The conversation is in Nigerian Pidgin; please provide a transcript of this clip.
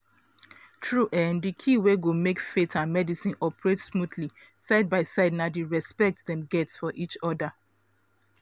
true[um]di key wey go make faith and medicine operate smoothly side by side na di respect dem get for each other.